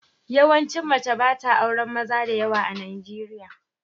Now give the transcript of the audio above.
Yawaici mace ba ta auren maza da yawa a Najeriya.